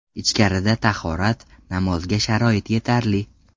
Ichkarida tahorat, namozga sharoit yetarli.